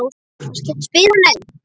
spyr hann enn.